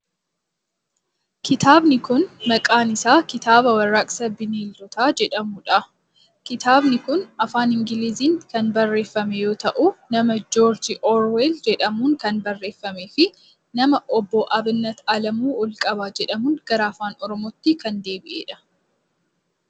Kitaabni kun, maqaan isaa kitaaba Warraaqsa Bineeldotaa jedhamuu dha. Kitaabni kun afaan Ingiliiziin kan barreeffame yoo ta'u, nama Joorjii Oorweel jedhamuun kan barreeffamee fi nama Obbo Abinnat Alamuu Olqabaa jedhamuun gara Afaan Oromootti kan deebi'ee dha.